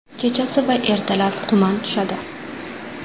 Kechasi va ertalab tuman tushadi.